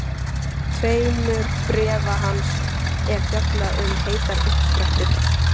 tveimur bréfa hans er fjallað um heitar uppsprettur.